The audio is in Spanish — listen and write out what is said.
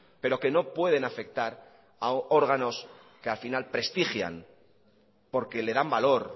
pero que no pueden afectar a órganos que al final prestigian porque le dan valor